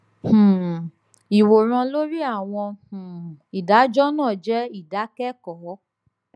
um ìwòran lori àwọn um ìdájọ náà jẹ ìdákẹkọọ